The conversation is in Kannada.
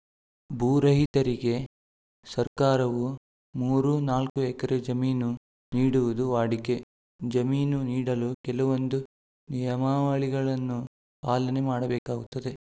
ಭೂ ರಹಿತರಿಗೆ ಸರ್ಕಾರವು ಮೂರು ನಾಲ್ಕು ಎಕರೆ ಜಮೀನು ನೀಡುವುದು ವಾಡಿಕೆ ಜಮೀನು ನೀಡಲು ಕೆಲವೊಂದು ನಿಯಮಾವಳಿಗಳನ್ನು ಪಾಲನೆ ಮಾಡಬೇಕಾಗುತ್ತದೆ